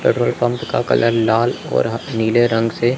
petrol pump का colour लाल और ह नीले रंग से--